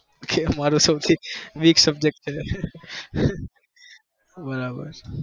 ઈએ મને ન ગમતો subject છે